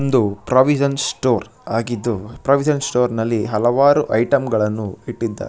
ಒಂದು provision store ಆಗಿದ್ದು provision store ನಲ್ಲಿ ಹಲವಾರು ಐಟಂ ಗಳನ್ನು ಇಟ್ಟಿದ್ದಾರೆ.